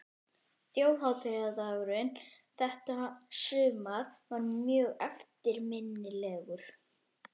Þjóðhátíðardagurinn þetta sumar er mjög eftirminnilegur.